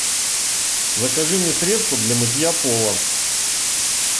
закажи мне средство для мытья пола